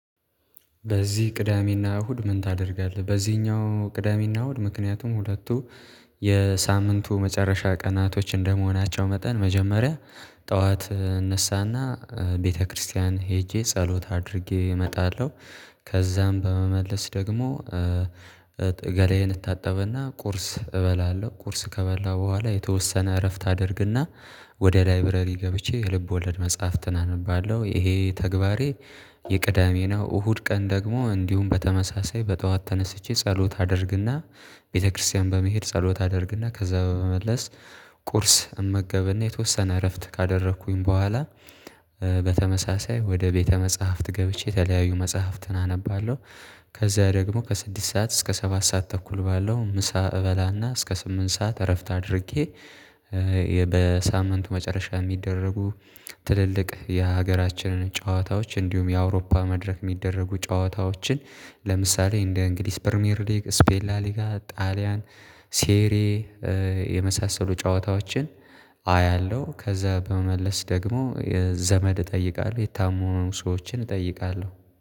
በዚህ ቅዳሜና እሁድ ምን ታደርጋለህ? በዚህኛው ቅዳሜና እሁድ ምክንያቱም ሁለቱ የሳምንቱ መጨረሻ ቀናቶች እንደመሆናቸው መጠን መጀመሪያ ጠዋት እነሳና ቤተክርስቲያን ሄጄ ጸሎት አድርጌ እመጣለሁ። ከዛም በመመለስ ደግሞ ገላዬን እታጠብና ቁርስ እበላለሁ ቁርስ ከበላሁ በኋላ የተወሰነ እረፍት አደርግና ወደ ላይብረሪ ገብቼ የልብወለድ መጽሐፍትን አነባለሁ ይሄ ተግባሬ የቅዳሜ ነው። እሁድ ቀን ደግሞ እንዲሁም በተመሳሳይ በጠዋት ተነስቼ ጸሎት አደርግና ቤተክርስቲያን በመሄድ ጸሎት አደርግና ከዛ በመመለስ ቁርስ እመገብና የተወሰነ እረፍት ካደረኩኝ በኋላ በተመሳሳይ ወደ ቤተ መጽሐፍት ገብቼ የተለያዩ መጽሐፍትን አነባለሁ። ከዛ ደግሞ ከስድስት ሰዓት እስከ ሰባት ሰዓት ተኩል ባለው ምሳ እበላና እስከ ስምንት ሰዓት እረፍት አድርጌ በሳምንቱ መጨረሻ የሚደረጉ ትልልቅ የሀገራችንን ጨዋታዎች እንዲሁም የአውሮፓ መድረክ የሚደረጉ ጨዋታዎችን ለምሳሌ እንደ እንግሊዝ ፕሪሚየር ሊግ ስፔን ላሊጋ ጣሊያን ሴሬ የመሳሰሉ ጨዋታዎችን አያለሁ። ከዛ በመመለስ ደግሞ ዘመድ እጠይቃለሁ የታመሙ ሰዎችን እጠይቃለሁ